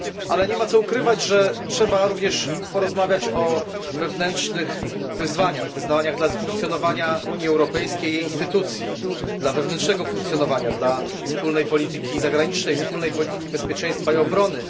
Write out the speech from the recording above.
Nie ma jednak co ukrywać, że trzeba również porozmawiać o wewnętrznych wyzwaniach, wyzwaniach dla funkcjonowania Unii Europejskiej i jej instytucji, dla wewnętrznego funkcjonowania, dla wspólnej polityki zagranicznej, wspólnej polityki bezpieczeństwa i obrony.